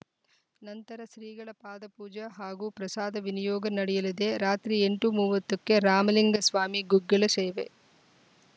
ನಂತರ ಶ್ರೀಗಳ ಪಾದಪೂಜೆ ಹಾಗೂ ಪ್ರಸಾದ ವಿನಿಯೋಗ ನಡೆಯಲಿದೆ ರಾತ್ರಿ ಎಂಟು ಮೂವತ್ತಕ್ಕೆ ರಾಮಲಿಂಗಸ್ವಾಮಿ ಗುಗ್ಗಳ ಸೇವೆ